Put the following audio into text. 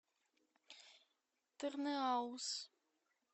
тырныауз